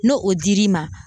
N'o o dir'i ma